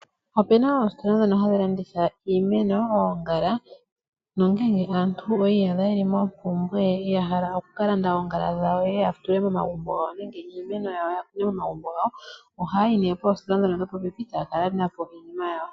Opena oositola dhono hadhi landitha iimeno, oongala nongele aantu oyi iyadha yeli mompumbwe yokukalanda oongala dhawo yatule momagumbo gawo nenge iimeno yatule momagumbo gawo. Ohayayi poostola ndhono dhopopepi etaya kalanda po iinima yawo.